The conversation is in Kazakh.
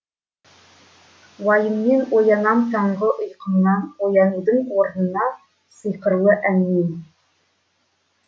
уайыммен оянам таңғы ұйқымнан оянудың орнына сыйқырлы әнмен